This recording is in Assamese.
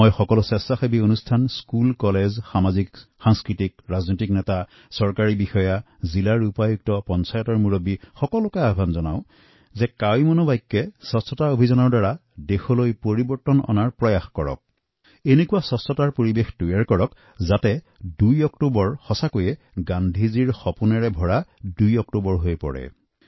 মই বেচৰকাৰী সংস্থা বিদ্যালয় মহাবিদ্যালয় সামজিক ৰাজনৈতিক নেতৃবৰ্গ চৰকাৰী বিষয়া কালেক্টৰ পঞ্চায়তৰ মুৰব্বীসকলক আহ্বান জনাওঁ যে ২ অক্টোবৰত মহাত্মা গান্ধীৰ জন্মদিনৰ ১৫ দিন পূৰ্বে আমি এনে এক পৰিৱেশ গঢ় দিম এনে স্বচ্ছ পৰিৱেশ গঢ়ি তুলিম যেন ২ অক্টোবৰ সঁচা অৰ্থত গান্ধীৰ সপোনৰ দিন হৈ পৰে